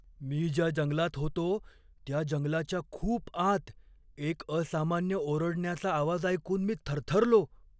मी ज्या जंगलात होतो त्या जंगलाच्या खूप आत एक असामान्य ओरडण्याचा आवाज ऐकून मी थरथरलो.